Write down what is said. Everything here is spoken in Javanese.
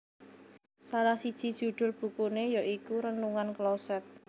Salah siji judhul bukune ya iku Renungan Kloset